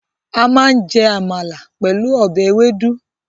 A máa jẹ amala pẹ̀lú ọbẹ̀ ewédú.